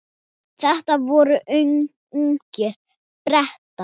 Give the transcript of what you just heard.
Þetta voru ungir Bretar.